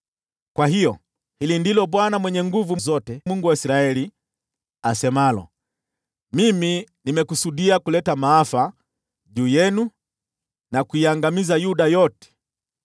“Kwa hiyo, hili ndilo Bwana Mwenye Nguvu Zote, Mungu wa Israeli, asemalo: Mimi nimekusudia kuleta maafa juu yenu, na kuiangamiza Yuda yote.